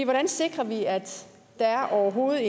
hvordan sikrer vi at der overhovedet